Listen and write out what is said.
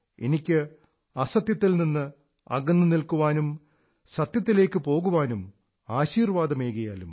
എനിക്ക് അസത്യത്തിൽ നിന്ന് അകന്നു നിൽക്കാനും സത്യത്തിലേക്കു പോകാനും ആശീർവ്വാദമേകിയാലും